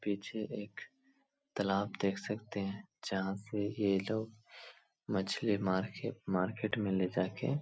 पीछे एक तालाब देख सकते हैं जहां से ये लोग मछली मार के मार्केट में ले जाके --